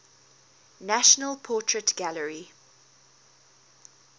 national portrait gallery